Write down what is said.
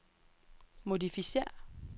modificér